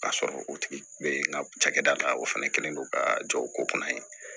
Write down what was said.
K'a sɔrɔ o tigi bɛ n ka cakɛda la o fana kɛlen no ka jɔ o ko kunna ye